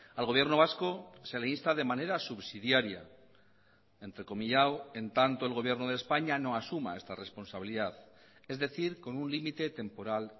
al gobierno vasco se le insta de manera subsidiaria entrecomillado en tanto el gobierno de españa no asuma esta responsabilidad es decir con un límite temporal